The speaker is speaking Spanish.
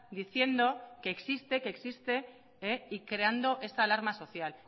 diciendo que existe que existe y creando esta alarma social